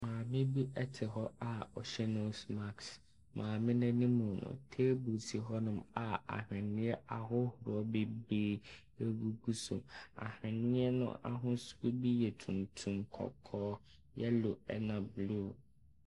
Maame bi te hɔ a ɔhyɛ nose mask. Maame n’anima no, table si hɔnom a aweneɛ ahodoɔ bebree gu so, aweneɛ no ahosuo ne bi yɛ tuntum, kɔkɔɔ, yellow na blue.